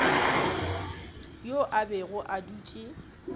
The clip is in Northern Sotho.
yo a bego a dutše